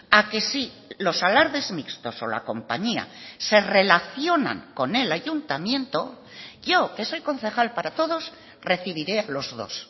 a que si los alardes mixtos o la compañía se relacionan con el ayuntamiento yo que soy concejal para todos recibiré los dos